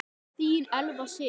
Þín Elfa Sif.